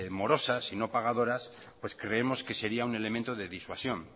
morosas y no pagadoras creemos que sería un elemento de disuasión